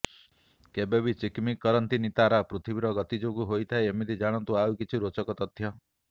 କେବେ ବି ଚିକ୍ମିକ୍ କରନ୍ତିନି ତାରା ପୃଥିବୀର ଗତି ଯୋଗୁ ହୋଇଥାଏ ଏମିତି ଜାଣନ୍ତୁ ଆଉ କିଛି ରୋଚକ ତଥ୍ୟ